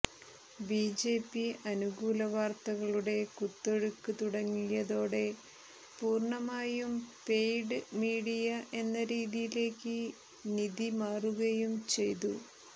BJP അനുകൂല വാര്ത്തകളുടെ കുത്തൊഴുക്കു തുടങ്ങിയതോടെ പൂര്ണ്ണമായും പെയ്ഡ് മീഡിയ എന്ന രീതിയിലേക്ക് നിതി മാറുകയും ചെയ്തു